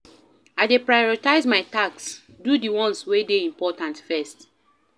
I dey prioritize my tasks, do di ones wey dey important first.